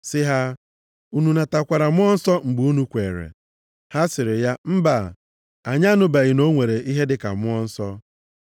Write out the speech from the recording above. sị ha, “Unu natakwara Mmụọ Nsọ mgbe unu kweere?” Ha sịrị ya, “Mba, anyị anụbeghị na ọ nwere ihe dịka Mmụọ Nsọ.”